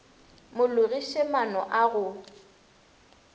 mo logiše maano a go